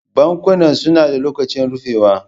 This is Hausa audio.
Bankunan suna da lokacin rufewa.